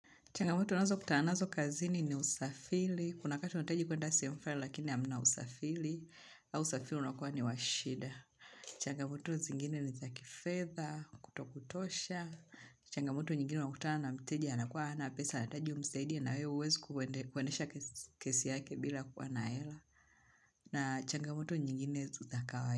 Changamoto unazo kutananazo kazini ni usafili. Kuna wakati unahitaji kwenda sehemu flani lakini hamna usafili. Au usafili unakuwa ni wa shida. Changamoto zingine ni kifedha, kutokutosha. Changamoto nyingine unakutana na mteja anakuwa hana pesa anahitaji umsaidie na wewe huwezi kuendesha kesi yake bila kuwa na hela. Na changamoto nyingine si zakawai.